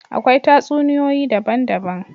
Akwai tatsuniyoyi daban daban